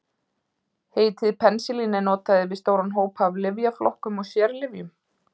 Heitið penisilín er notað yfir stóran hóp af lyfjaflokkum og sérlyfjum.